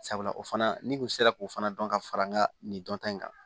Sabula o fana n'i kun sera k'o fana dɔn ka fara n ka nin dɔnta in kan